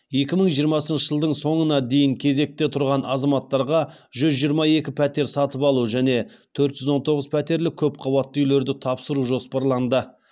екі мың жиырмасыншы жылдың соңына дейін кезекте тұрған азаматтарға жүз жиырма екі пәтер сатып алу және төрт жүз он тоғыз пәтерлі көпқабатты үйлерді тапсыру жоспарланды